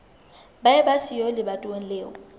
ba eba siyo lebatoweng leo